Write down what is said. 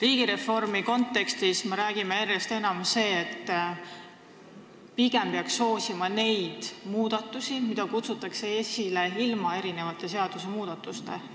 Riigireformi kontekstis me aga räägime järjest enam sellest, et pigem peaks soosima neid muudatusi, mida tehakse ilma seadusi muutmata.